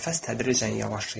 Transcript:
Nəfəs tədricən yavaşlayır.